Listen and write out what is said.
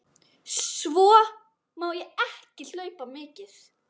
Svo má ég ekki hlaupa mikið.